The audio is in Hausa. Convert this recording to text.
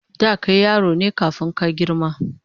Da kai yaro ne kafun ka girma